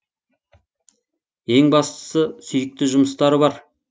ең бастысы сүйікті жұмыстары бар